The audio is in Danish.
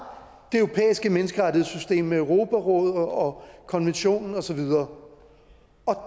europæiske menneskerettighedssystem med europarådet og konventionen og så videre